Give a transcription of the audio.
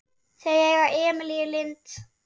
Þau eiga Emilíu Lind.